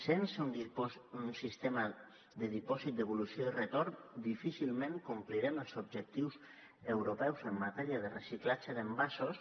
sense un sistema de dipòsit devolució i retorn difícilment complirem els objectius europeus en matèria de reciclatge d’envasos